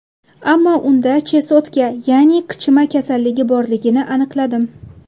Ammo unda chesotka, ya’ni qichima kasalligi borligini aniqladim.